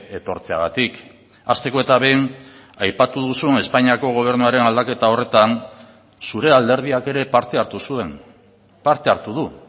etortzeagatik hasteko eta behin aipatu duzun espainiako gobernuaren aldaketa horretan zure alderdiak ere parte hartu zuen parte hartu du